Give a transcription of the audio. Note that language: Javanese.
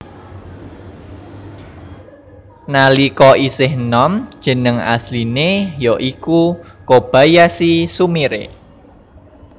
Nalika isih nom jeneng asline ya iku Kobayashi Sumire